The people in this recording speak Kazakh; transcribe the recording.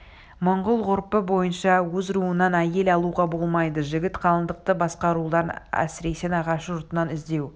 монғол ғұрпы бойынша өз руынан әйел алуға болмайды жігіт қалыңдықты басқа рулардан әсіресе нағашы жұртынан іздеуі